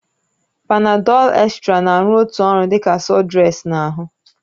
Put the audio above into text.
Panadol extra na-arụ otu ọrụ dị ka sudrex na ahụ